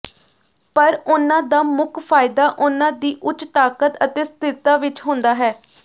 ਪਰ ਉਨ੍ਹਾਂ ਦਾ ਮੁੱਖ ਫਾਇਦਾ ਉਹਨਾਂ ਦੀ ਉੱਚ ਤਾਕਤ ਅਤੇ ਸਥਿਰਤਾ ਵਿੱਚ ਹੁੰਦਾ ਹੈ